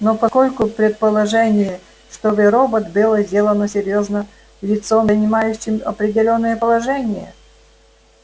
но поскольку предположение что вы робот было сделано серьёзно лицом занимающим определённое положение